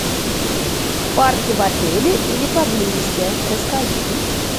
парки в отеле или поблизости расскажи